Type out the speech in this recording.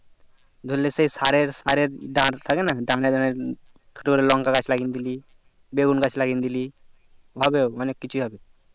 ধরলে যে সারের সারের দাঁড় থাকে না দাঁড়এ দাঁড়এ তোর লঙ্কা গাছ লাগিয়ে দিলি বেগুন গাছ লাগিয়ে দিলি হবে অনেক কিছু হবে